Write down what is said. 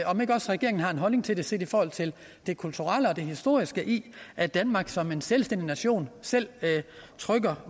om ikke også regeringen har en holdning til det set i forhold til det kulturelle og det historiske i at danmark som en selvstændig nation selv trykker